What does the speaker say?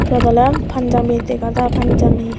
iyot oley panjabi dega jai panjami.